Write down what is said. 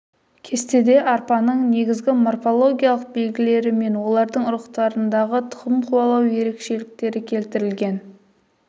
кестеде арпаның негізгі морфологиялық белгілері мен олардың ұрпақтарындағы тұқым қуалау ерекшеліктері келтірілген